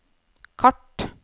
kart